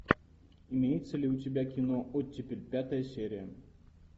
имеется ли у тебя кино оттепель пятая серия